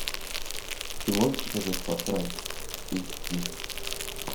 ты можешь показать фар край эйч ди